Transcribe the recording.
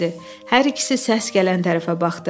Hər ikisi səs gələn tərəfə baxdı.